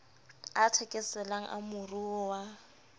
a thekeselang a moruo wa